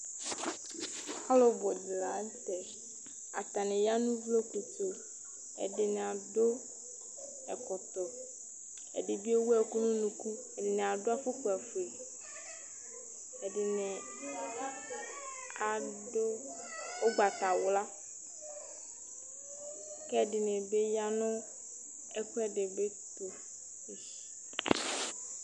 Alu bʋ dìní la ntɛ Atani ya nu ʋvloku tu Ɛdiní adu ɛkɔtɔ Ɛdí bi ɛwu ɛku nʋ ʋnʋku Ɛdiní adu afukpa fʋe Ɛdiní adu ugbatawla kʋ ɛdiní bi ya nʋ ɛku ɛdibi tu